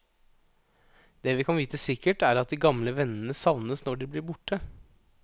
Det vi kan vite sikkert, er at de gamle vennene savnes når de blir borte.